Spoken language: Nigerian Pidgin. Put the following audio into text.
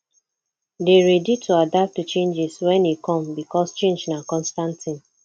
dey ready to adapt to changes when e come because change na constant thing